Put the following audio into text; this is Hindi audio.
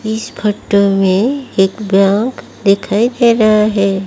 इस फोटो में एक बैंक दिखाई दे रहा है।